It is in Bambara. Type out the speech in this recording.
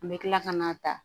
N bɛ tila ka n'a ta